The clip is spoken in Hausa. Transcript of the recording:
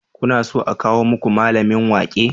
Kuna so a kawo muku mallamin waƙe?